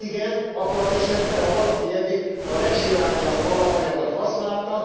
Igen, abban az esetben, ha valaki eddig a legsilányabb alapanyagot használta.